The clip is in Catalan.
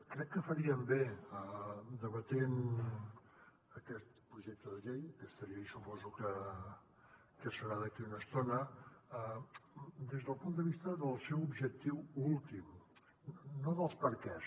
crec que faríem bé debatent aquest projecte de llei aquesta llei suposo que serà d’aquí una estona des del punt de vista del seu objectiu últim no dels perquès